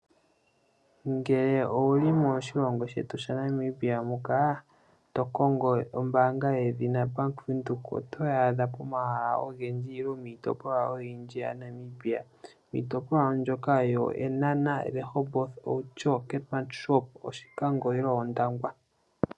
Ngele owu li moshilongo shetu shaNamibia muka, to kongo ombaanga yedhina Bank Windhoek, otoyi adha pomahala ogendji nenge miitopolwa oyindji yaNamibia. Miitopolwa mbyoka yEenhana, Rehoboth, Outjo, Keetmanshoop, Oshikango nenge Ondangwa.